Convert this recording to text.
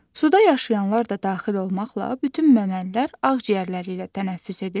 Suda yaşayanlar da daxil olmaqla, bütün məməlilər ağciyərləri ilə tənəffüs edirlər.